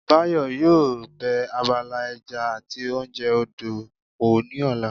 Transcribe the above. Báyọ̀ yóò bẹ abala ẹja àti oúnjẹ odò wò ní ọ̀la